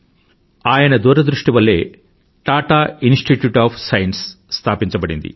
ఆయన దూరదృష్టి వల్లే టాటా ఇన్స్టిట్యూట్ ఆఫ్ సైన్స్ స్థాపించబడింది